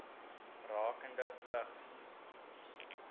rakende vigs